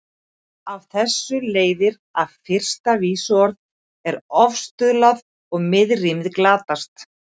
Af þessu leiðir að fyrsta vísuorð er ofstuðlað og miðrímið glatast.